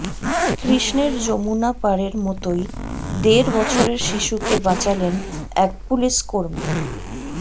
কৃষ্ণের যমুনা পারের মতোই দেড় বছরের শিশুকে বাঁচালেন এক পুলিশ কর্মী